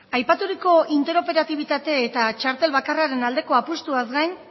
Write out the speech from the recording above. aipaturiko interoperatibitate eta txartel bakarraren aldeko apustuaz gain